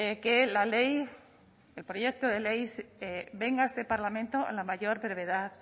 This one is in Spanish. que la ley el proyecto de ley venga a este parlamento en la mayor brevedad